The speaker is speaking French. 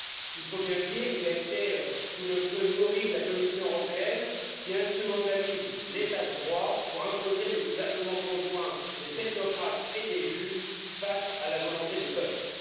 Il faut bien le dire, il a été sous le feu nourri de la Commission européenne, qui instrumentalise l'état de droit pour imposer le gouvernement conjoint des technocrates et des juges face à la volonté des peuples.